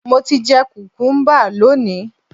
Mo ti jẹ kùkúḿbà lónìí